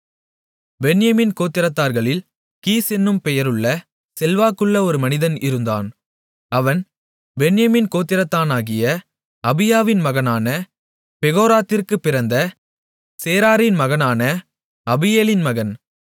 பென்யமீன் கோத்திரத்தார்களில் கீஸ் என்னும் பெயருள்ள செல்வாக்குள்ள ஒரு மனிதன் இருந்தான் அவன் பென்யமீன் கோத்திரத்தானாகிய அபியாவின் மகனான பெகோராத்திற்குப் பிறந்த சேரோரின் மகனான அபீயேலின் மகன்